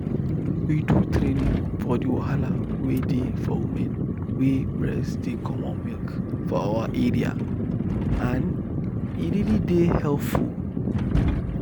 we do traning for the wahala wey dey for women wey breast dey comot milk for our area and e really dey helpful.